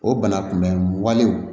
O bana kunbɛn walew